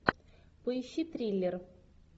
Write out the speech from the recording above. поищи триллер